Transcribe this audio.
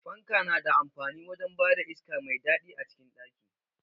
Fanka na da amfani wajen bada iska mai daɗi a cikin ɗaki.